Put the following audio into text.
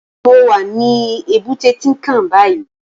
Mó wá ni ébùté Tinkán bàyí